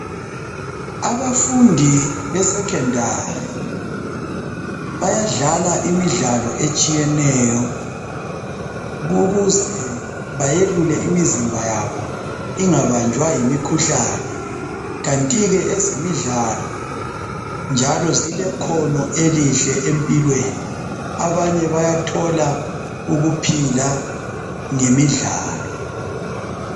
Abafundi besecondary, bayadlala imidlalo etshiyeneyo ukuze bayelule imizimba yabo ingabanjwa yimikhuhlane. Kantike ezemidlalo njalo zilekhono elihle empilweni. Abanye bayathola ukuphila ngemidlalo.